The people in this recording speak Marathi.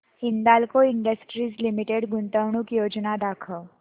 हिंदाल्को इंडस्ट्रीज लिमिटेड गुंतवणूक योजना दाखव